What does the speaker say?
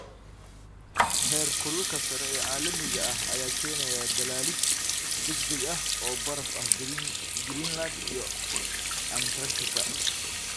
Heerkulka sare ee caalamiga ah ayaa keenaya dhalaalid degdeg ah oo baraf ah Greenland iyo Antarctica.